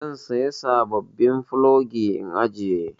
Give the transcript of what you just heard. Zan saya sabobbin plogi in ajiye.